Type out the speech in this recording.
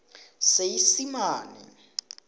seesimane